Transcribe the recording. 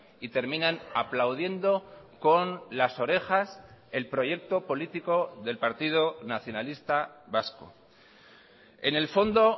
y terminan aplaudiendo con las orejas el proyecto político del partido nacionalista vasco en el fondo